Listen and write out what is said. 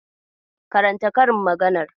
Karanta karin maganar.